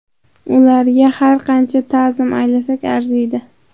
Ularga har qancha ta’zim aylasak arziydi!